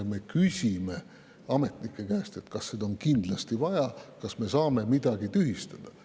Me küsime ametnike käest, kas on kindlasti vaja, kas me saame midagi tühistada.